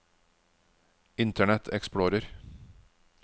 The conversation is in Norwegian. internet explorer